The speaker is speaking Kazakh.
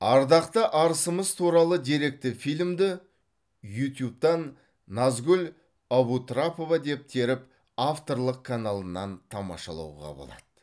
ардақты арысымыз туралы деректі фильмді ютубтан назгул абутрапова деп теріп авторлық каналынан тамашалауға болады